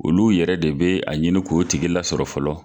Olu yɛrɛ de be a ɲini ko tigilasɔrɔ fɔlɔ